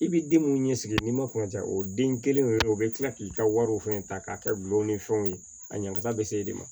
I bi den munnu ɲɛsigi n'i ma kunna ja o den kelen o kelen o be kila k'i ka wariw fɛnɛ ta k'a kɛ gulɔ ni fɛnw ye a ɲaga be se e de ma